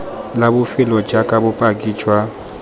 la bofelo jaaka bopaki jwa